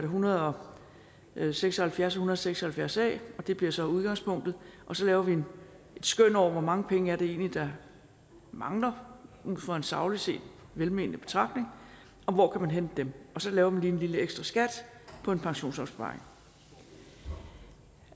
hundrede og seks og halvfjerds og en og seks og halvfjerds a og det bliver så udgangspunktet så laver vi et skøn over hvor mange penge det egentlig er der mangler ud fra en sagligt set velmenende betragtning og hvor kan man hente dem og så laver man lige en lille ekstraskat på en pensionsopsparing